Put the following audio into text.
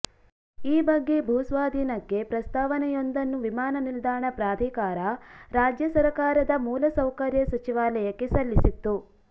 ಈ ಬಗ್ಗೆ ಭೂಸ್ವಾಧೀನಕ್ಕೆ ಪ್ರಸ್ತಾವನೆಯೊಂದನ್ನು ವಿಮಾನನಿಲ್ದಾಣ ಪ್ರಾಧಿಕಾರ ರಾಜ್ಯ ಸರಕಾರದ ಮೂಲಸೌಕರ್ಯ ಸಚಿವಾಲಯಕ್ಕೆ ಸಲ್ಲಿಸಿತ್ತು